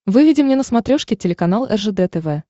выведи мне на смотрешке телеканал ржд тв